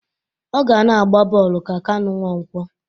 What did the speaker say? Ọ ga na-agba bọọlụ ka Kanụ Nwankwọ